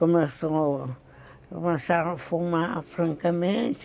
Começaram a fumar francamente.